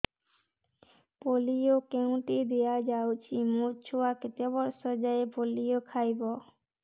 polio କେଉଁଠି ଦିଆଯାଉଛି ମୋ ଛୁଆ କେତେ ବର୍ଷ ଯାଏଁ ପୋଲିଓ ଖାଇବ